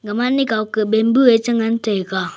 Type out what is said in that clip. Mane kao ke bambu chi ngan taiga.